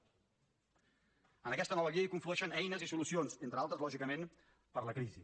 en aquesta nova via hi conflueixen eines i solucions entre altres lògicament per a la crisi